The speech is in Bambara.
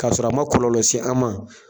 K' a sɔrɔ a ma kɔlɔlɔ s'an ma.